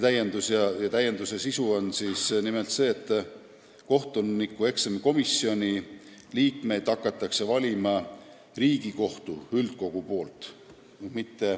Asja sisu on see, et kohtunikueksamikomisjoni liikmeid hakkab valima Riigikohtu üldkogu.